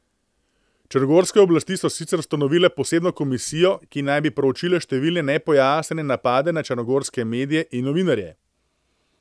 Črnogorske oblasti so sicer ustanovile posebno komisijo, ki naj bi proučila številne nepojasnjene napade na črnogorske medije in novinarje.